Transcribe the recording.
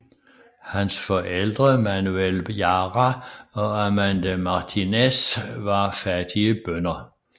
Hans forældre Manuel Jara og Amanda Martínez var fattige bønder